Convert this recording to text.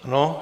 Ano.